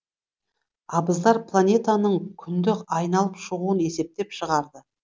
абыздар планетаның күнді айналып шығуын есептеп шығарды